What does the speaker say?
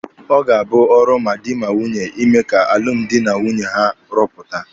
Ọ ga-abụ ọrụ ma dị ma nwunye ịme ka alụmdi na nwunye ha rụpụta.